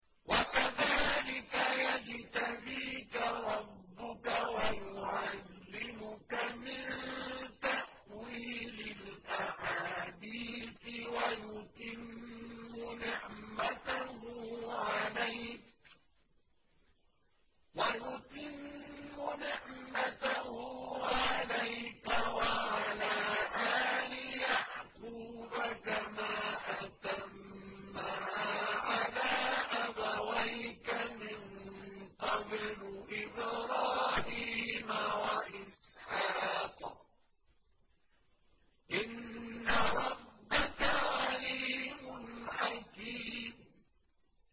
وَكَذَٰلِكَ يَجْتَبِيكَ رَبُّكَ وَيُعَلِّمُكَ مِن تَأْوِيلِ الْأَحَادِيثِ وَيُتِمُّ نِعْمَتَهُ عَلَيْكَ وَعَلَىٰ آلِ يَعْقُوبَ كَمَا أَتَمَّهَا عَلَىٰ أَبَوَيْكَ مِن قَبْلُ إِبْرَاهِيمَ وَإِسْحَاقَ ۚ إِنَّ رَبَّكَ عَلِيمٌ حَكِيمٌ